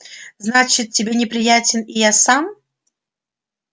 значит тебе неприятен и я сам